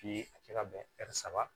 a kɛ ka bɛn saba